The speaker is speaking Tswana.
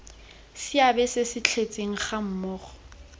seabe se se tletseng gammogo